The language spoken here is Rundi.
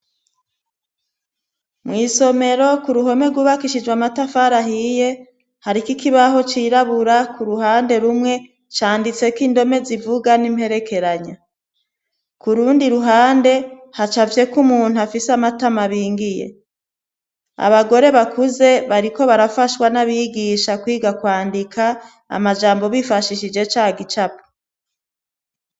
Mw'isomero ku ruhome ryubakishijw amatafara ahiye hari ko ikibaho cirabura ku ruhande rumwe canditse ko indome zivuga n'imperekeranya kurundi ruhande hacafye ko umuntu afise amatama bingiye abagore bakuze bariko barafashwa n'abigisha kwiga kwandika amajambo bifashishije ca gicapa.